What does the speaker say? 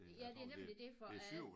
Ja det er nemlig det for